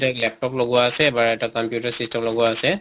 laptop লগোৱা আছে না এটা computer system লগোৱা আছে